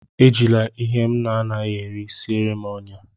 Ejila ihe m anaghị eri siere m ọnyá!